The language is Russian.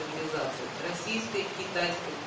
цивилизаций российской китайской